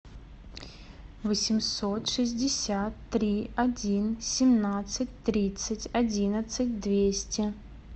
восемьсот шестьдесят три один семнадцать тридцать одиннадцать двести